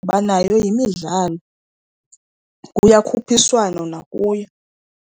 Kuba nayo yimidlalo, kuyakhuphiswana nakuyo.